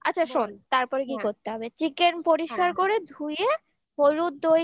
আচ্ছা শোন তারপরে কি করতে হবে chicken পরিষ্কার করে ধুয়ে হলুদ দই